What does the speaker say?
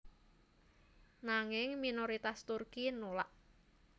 Nanging minoritas Turki nulak